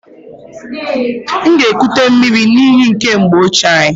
M ga-ekute miri n'iyi nke mgbe ochie anyị.